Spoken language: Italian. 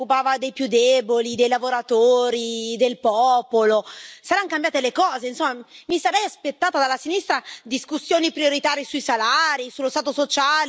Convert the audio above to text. Saranno cambiate le cose, mi sarei aspettata dalla sinistra discussioni prioritarie sui salari, sullo stato sociale, sulle delocalizzazioni, ma probabilmente i poveri non vanno più di moda.